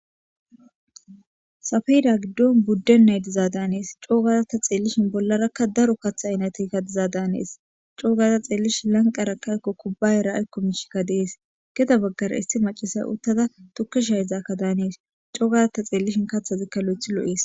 Safeda gidon budenay diza danes cogada ta xelishin bollara daro katha aynatey diza danes co gada xelishin laqerakka kubayarkka ayko mishi des gede bagara issi macasiya utada tuke shayizada danaws cogada ta xelishinkka kathazi lothidi lo'es